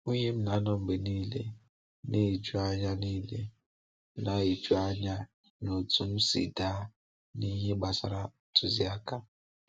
Nwunye m na-anọ mgbe niile na-eju anya niile na-eju anya na otú m si daa n’ihe gbasara ntụziaka.